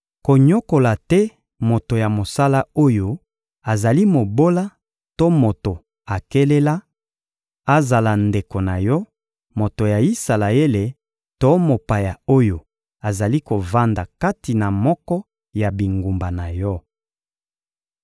Konyokola te moto ya mosala oyo azali mobola to moto akelela: azala ndeko na yo moto ya Isalaele to mopaya oyo azali kovanda kati na moko ya bingumba na yo.